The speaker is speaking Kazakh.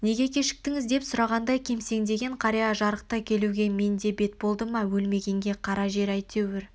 неге кешіктіңіз деп сұрағандарға кемсеңдеген қария жарықта келуге менде бет болды ма өлмегенге қара жер әйтеуір